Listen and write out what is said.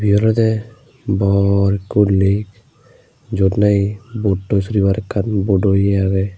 ibey olode bor goriney jyot nahi boat toi soribar ekkan bodo iye agey.